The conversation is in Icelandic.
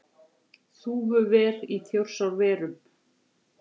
Þúfuver í Þjórsárverum.